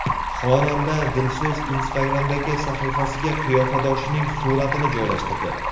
Xonanda Dilso‘z Instagram’dagi sahifasiga qiyofadoshining suratini joylashtirdi.